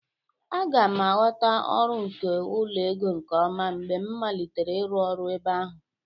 A ga m aghọta ọrụ nke ụlọ ego nke ọma mgbe m malitere ịrụ ọrụ ebe ahụ